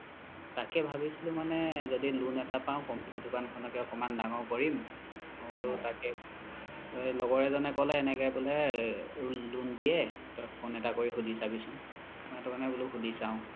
তাকে ভাবিছিলো মানে য্দি loan এটা পাও computer দুকান খনকে একমান দাঙৰ কৰিম মই বুলো তাকে লগৰ এজনে ক্'লে এনেকে বুলে loan দিয়ে phone এটা কৰি সুধি চাবিছোন মই সেইতো কাৰনে বুলো সুধি চাও